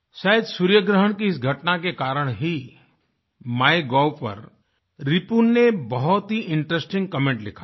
शायद सूर्यग्रहण की इस घटना के कारण ही माय गोव पर रिपुन ने बहुत ही इंटरेस्टिंग कमेंट लिखा है